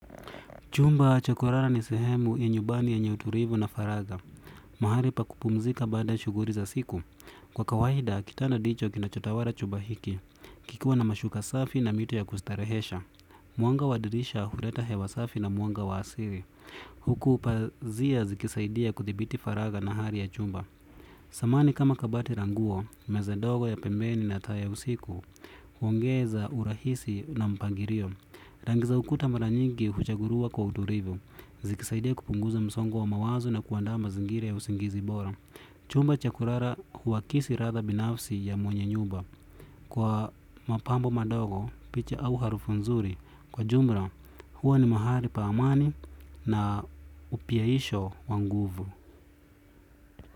Chumba cha kulala ni sehemu ya nyumbani yenye utulivu na faragha. Mahali pa kupumzika baada shughuli za siku. Kwa kawaida, kitanda ndicho kinachotawala chumba hiki. Kikiwa na mashuka safi na mito ya kustarehesha. Mwanga wa dirisha huleta hewa safi na mwanga wa asili. Huku pazia zikisaidia kudhibiti faragha na hali ya chumba. Samani kama kabati la nguo, meza ndogo ya pembeni na taa ya usiku, huongeza urahisi na mpangilio. Rangi za ukuta mara nyingi huchaguliwa kwa utulivu. Zikisaidia kupunguza msongo wa mawazo na kuandaa mazingira ya usingizi bora. Chumba cha kulala huakisi ladha binafsi ya mwenye nyumba. Kwa mapambo madogo, picha au harufu nzuri, kwa jumla huwa ni mahali pa amani na upiaisho wa nguvu.